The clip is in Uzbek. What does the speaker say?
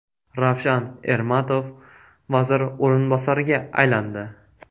Ravshan Ermatov vazir o‘rinbosariga aylandi.